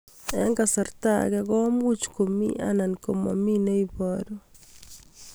Eng' kasarta ag'e ko much ko mii anan komamii ne ibaru